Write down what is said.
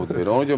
Hə, po verir.